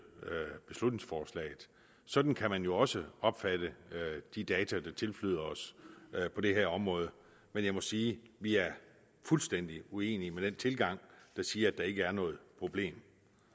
beslutningsforslaget sådan kan man jo også opfatte de data der tilflyder os på det her område men jeg må sige at vi er fuldstændig uenige i den tilgang der siger at der ikke er noget problem